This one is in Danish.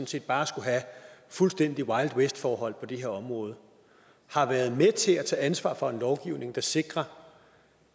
set bare skulle have fuldstændig wild west forhold på det her område har været med til at tage ansvar for en lovgivning der sikrer